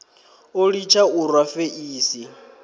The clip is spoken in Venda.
o litsha u rwa feisi